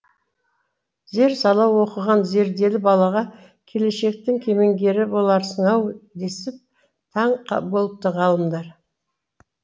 зер сала оқыған зерделі балаға келешектің кемеңгері боларсың ау десіп таң болыпты ғалымдар